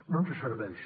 no ens serveix